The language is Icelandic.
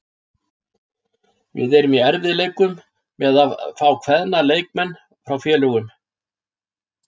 Við erum í erfiðleikum með að fá á kveðna leikmenn frá félögum.